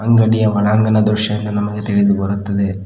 ಅಂಗಡಿಯ ಒಳಾಂಗಣ ದೃಶ್ಯ ಎಂದು ನಮಗೆ ತಿಳಿದು ಬರುತ್ತದೆ.